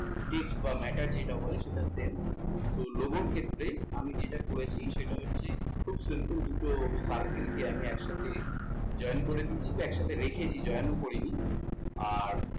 text বা matter যেটাকে বলে সেটা same তো logo র ক্ষেত্রে আমি যেটা করেছি সেটা হচ্ছে খুব simple দুটো circle কে আমি একসাথে join করে দিয়েছি। দিয়ে join করে রেখেছি join ও করিনি আর,